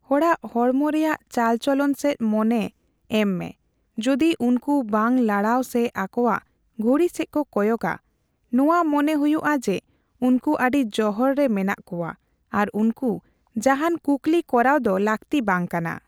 ᱦᱚᱲᱟᱜ ᱦᱚᱲᱢᱚ ᱨᱮᱭᱟᱜ ᱪᱟᱞᱪᱚᱞᱚᱱ ᱥᱮᱪ ᱢᱚᱱᱮ ᱮᱢ ᱢᱮᱼ ᱡᱚᱫᱤ ᱩᱱᱠᱩ ᱵᱟᱝᱠᱚ ᱞᱟᱲᱟᱣ ᱥᱮ ᱟᱠᱚᱣᱟᱜ ᱜᱷᱚᱲᱤ ᱥᱮᱪ ᱠᱚ ᱠᱚᱭᱚᱜᱟ, ᱱᱚᱣᱮ ᱢᱚᱱᱮ ᱦᱩᱭᱩᱜᱼᱟ ᱡᱮ ᱩᱱᱠᱩ ᱟᱹᱰᱤ ᱡᱚᱦᱚᱲ ᱨᱮ ᱢᱮᱱᱟᱜ ᱠᱚᱣᱟ, ᱟᱨ ᱩᱱᱠᱩ ᱡᱟᱦᱟᱸᱱ ᱠᱩᱠᱞᱤ ᱠᱚᱨᱟᱣ ᱫᱚ ᱞᱟᱹᱠᱛᱤ ᱵᱟᱝ ᱠᱟᱱᱟ ᱾